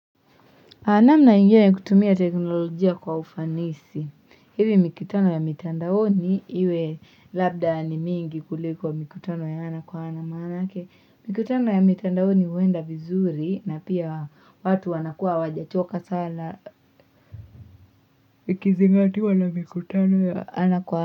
Hana namna ingine ya kutumia teknolojia kwa ufanisi hivi mikutano ya mitandaoni iwe labda ni mingi kulikuwa mikutano ya ana kwa ana maanaake mikutano ya mitandaoni huenda vizuri na pia watu wanakuwa hawajachoka sana ikizingatiwa na mikutano ya ana kwa ana.